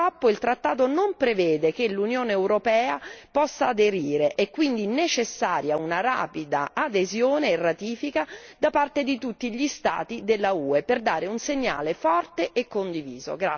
Purtroppo, il trattato non prevede che l'Unione europea possa aderire, è quindi necessaria una rapida adesione e ratifica da parte di tutti gli Stati dell'UE per dare un segnale forte e condiviso.